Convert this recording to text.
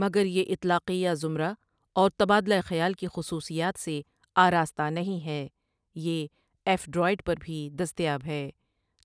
مگر یہ اطلاقیہ زمرہ اور تبادلہ خیال کی خصوصیات سے آراستہ نہیں ہے یہ ایف ڈروید پر بھی دستیاب ہے